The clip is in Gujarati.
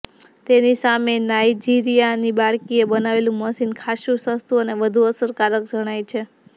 તેની સામે નાઈજિરિયાની બાળકીએ બનાવેલુ મશીન ખાસ્સુ સસ્તુ અને વધુ અસરકારક જણાય છે